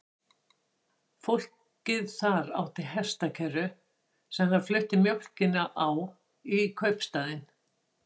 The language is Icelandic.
Fólkið þar átti hestakerru sem það flutti mjólkina á í kaupstaðinn.